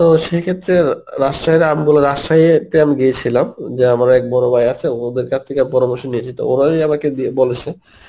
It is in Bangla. তো সেইক্ষেত্রে অ্যাঁ রাজশাহীর আমগুলো রাজশাহীতে আমি গিয়েছিলাম যে আমার এক বড় ভাই আছে ওদের কাছ থেকে পরামর্শ নিয়েছি তো ওরাই আমাকে দিয়ে বলেছে